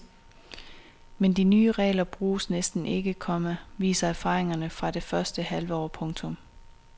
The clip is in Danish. Men de nye regler bruges næsten ikke, komma viser erfaringerne fra det første halve år. punktum